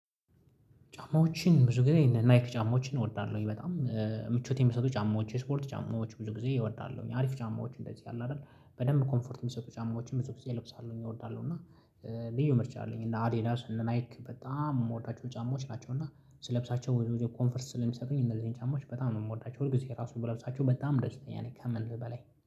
ጫማዎችን ብዙ ጊዜ እነ ናይክ ጫማዎችን እወዳለሁ በጣም። ምቾት የሚሰጡ ጫማዎች የስፖርት ጫማዎች ብዙ ጊዜ እወዳለሁኝ አሪፍ ጫማዎች እንደዚህ አለ አይደል? በደንብ ኮምፎርት የሚሰጡ ጫማዎችን ብዙ ጊዜ እለብሳለሁኝ እወዳለሁ እና። ልዩ ምርጫ አለኝ እና አዳዲስ እና ናይክ በጣም የምወዳቸው ጫማዎች ናቸው። እና ስለብሳቸው ወይም ኮንፈርስ ስለሚሰጡኝ እነዚህን ጫማዎች በጣም ነው የምወዳቸው ሁልጊዜ ራሱ ብለብሳቸው በጣም ደስተኛ ነኝ ከምን በላይ